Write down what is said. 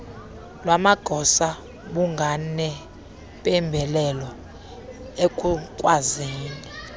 lwamagosa bunganempembelelo ekukwazini